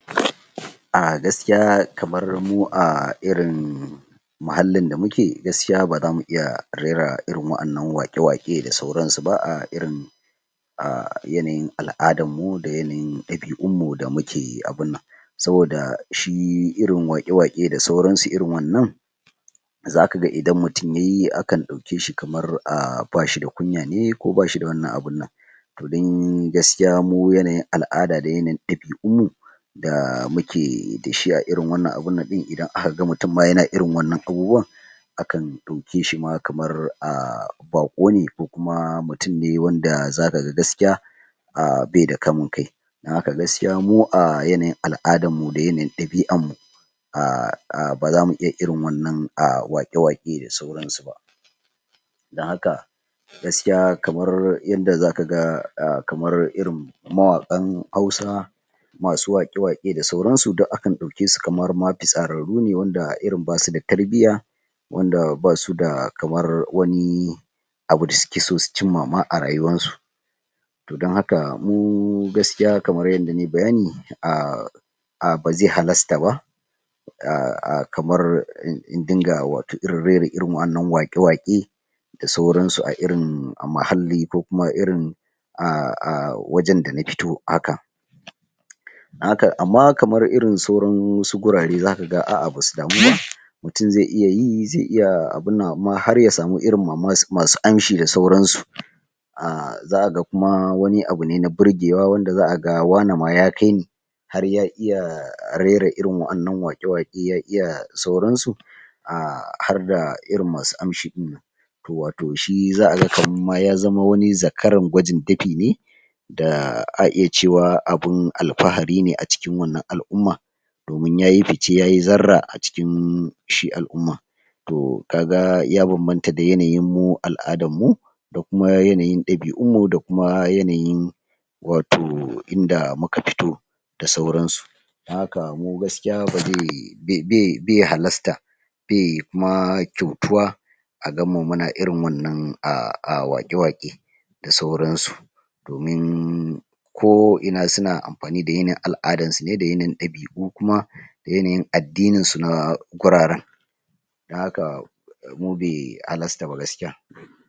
um Gaskiya kamar mu um irin muhallin da muke, gaskiya baza mu they h iya rera irin waƴannan waƙe waƙe da sauran su ba um irin ah a yanayin alʼadarmu da yanayin ɗabiʼunmu da muke abunnan, saboda shi irin waƙe waƙe da sauransu irin wannan. Zakaga idan mutum yayi akan ɗaukeshi kamar bashi da kunya ne ko bashi da wannan abinnan, toh dai mu yanayin alʼada da yana yin ɗabiʼunmu da muke abinnan sabida dashi a irin wannan abunnan ɗin idan akaga mutun ma yana irin waɗannan abubuwan akan ɗauke shima kamar baƙone ko kuma mutum ne wanda zaka ga gaskiya um baida kamun kai dan haka gaskiya mu a yanayin alʼadarmu da yanayin ɗabiʼarmu baza mu iya irin waɗannan waƙe waƙe da sauran su ba, dan haka gaskiya kamar yanda zaka ga kamar irin mawaƙan hausa masu waƙe waƙe da sauransu duk akan daukesu kamar ma fitsararru ne wanda irin basu da tarbiyya, wanda basu da kamar wani abu da suke so su cimma a rayuwar su. Toh, dan haka gaskiya mu gaskiya kamar yadda nayi bayani um um baze halasta ba kamar in dinga rera irin waɗannan waƙe waƙe da sauransu a irin muhalli, ko kuma irin um a wajen da nafito haka amma kamar irin sauran wasu gurare zaka ga aʼa basu damu ba, mutum ze iya yi ze iya abunnan amma harya samu irin masu amshi da sauran su, zaka ga kuma wani abune na burgewa wanda zaka ga wane ma yakai ne har ya iya rera irin waɗannan waƙe waƙe ya iya da sauran su harda irin masu amshi ɗinnan to wato shi zaka ga kamar ma ya zama wani zakaran gwajin dafi ne da ah za'a iya cewa abun alfahari ne a cikin wannan alʼumman, domin yayi fice yayi zarra a cikin shi alʼumman to kaga ya bambanta da yanayin mu alʼadarmu da kuma yanayi ɗabiʼunmu da kuma yanayin wato inda muka fito, da sauransu. Dan haka mu gaskiya baze halasta be kuma kyautuwa a ganmu muna wannan waƙe waƙe da sauransu domin ko ina suna amfani da yanayin alʼadar su, da yanayin ɗabiʼu kuma da yanayin addinin su na guraren. Dan haka mu be halasta ba gaskiya.